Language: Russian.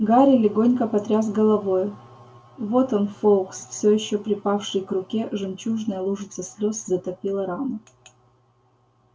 гарри легонько потряс головой вот он фоукс всё ещё припавший к руке жемчужная лужица слёз затопила рану